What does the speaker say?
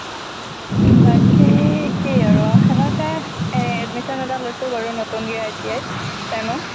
বাকি একেই আৰু, খানাপাৰাত এ~ admission এটা লৈছোঁ বাৰু নতুনকে ITI ত steno।